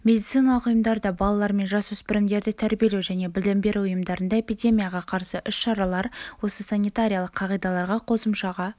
медициналық ұйымдарда балалар мен жасөспірімдерді тәрбиелеу және білім беру ұйымдарында эпидемияға қарсы іс-шаралар осы санитариялық қағидаларға қосымшаға